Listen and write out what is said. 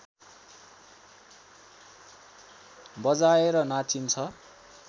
बजाएर नाचिन्छ